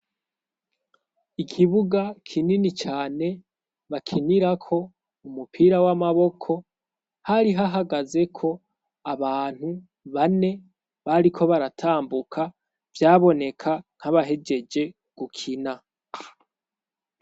Ikibuga kinini cane bakinirako umupira w'amaboko hari hahagazeko abantu bane bariko baratambuka vyaboneka nkabahejeje gukina.